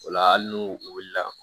O la hali n'u wulila